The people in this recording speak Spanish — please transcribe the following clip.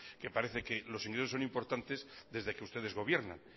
que parece que los ingresos son importantes desde que ustedes gobiernan